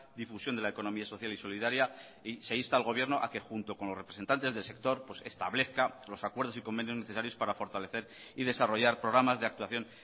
difusión de la economía social y solidaria y se insta al gobierno a que junto con los representantes del sector establezca los acuerdos y convenios necesarios para fortalecer y desarrollar programas de actuación